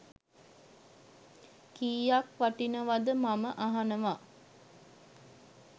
කීයක් වටිනවද මම අහනව.